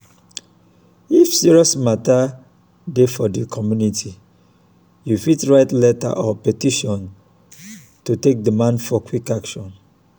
if serious mata dey for di community you fit write letter or petition take demand for quick action.